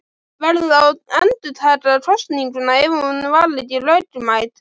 Verður þá að endurtaka kosninguna ef hún var ekki lögmæt.